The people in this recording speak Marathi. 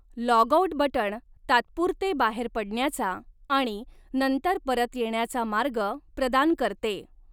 लॉगआऊट बटण तात्पुरते बाहेर पडण्याचा आणि नंतर परत येण्याचा मार्ग प्रदान करते.